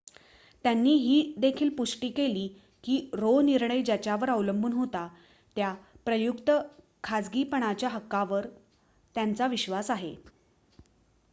त्यांनी ही देखील पुष्टी केली की रो निर्णय ज्यावर अवलंबून होता त्या प्रयुक्त खासगीपणाच्या हक्कावर त्यांचा विश्वास आहे